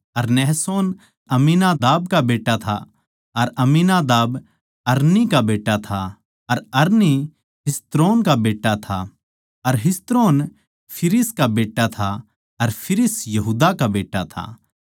अर नहशोन अम्मीनादाब का बेट्टा था अर अम्मीनादाब अर अरनी का बेट्टा था अर अरनी हिस्रोन का बेट्टा था अर हिस्रोन फिरिस का बेट्टा था अर फिरिस यहूदा का बेट्टा था